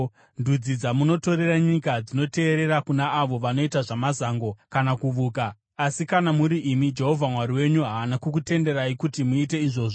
Ndudzi dzamunotorera nyika dzinoteerera kuna avo vanoita zvamazango kana kuvuka. Asi kana muri imi Jehovha Mwari wenyu haana kukutenderai kuti muite izvozvo.